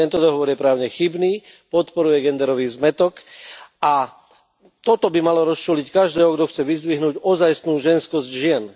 Tento dohovor je právne chybný, podporuje genderový zmätok a toto by malo rozčúliť každého, kto chce vyzdvihnúť ozajstnú ženskosť žien.